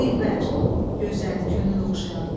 Dilbər, gözəl, könül oxşayan.